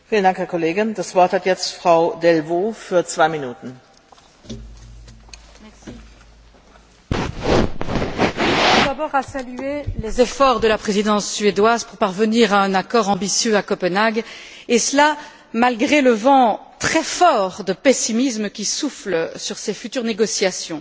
Madame la Présidente, je tiens tout d'abord à saluer les efforts de la Présidence suédoise pour parvenir à un accord ambitieux à Copenhague, et cela malgré le vent très fort de pessimisme qui souffle sur ces futures négociations.